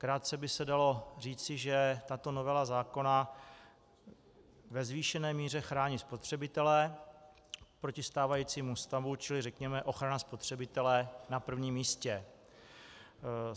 Krátce by se dalo říci, že tato novela zákona ve zvýšené míře chrání spotřebitele proti stávajícímu stavu, čili řekněme ochrana spotřebitele na prvním místě.